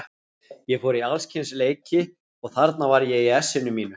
Ég fór í alls kyns leiki og þarna var ég í essinu mínu.